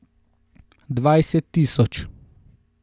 Dvajset tisoč.